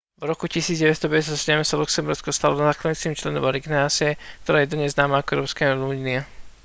v roku 1957 sa luxembursko stalo zakladajúcim členom organizácie ktorá je dnes známa ako európska únia